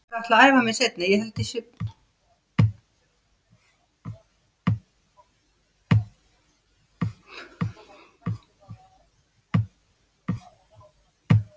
Hreindís, er bolti á mánudaginn?